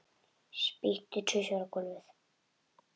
Spýti tvisvar á gólfið.